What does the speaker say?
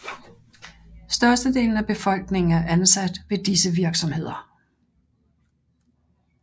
Størstedelen af befolkningen er ansat ved disse virksomheder